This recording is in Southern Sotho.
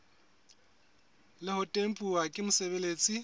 le ho tempuwa ke mosebeletsi